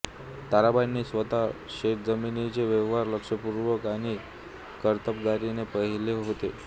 ताराबाईंनी स्वतः शेतजमिनीचे व्यवहार लक्षपूर्वक आणि कर्तबगारीने पहिले होते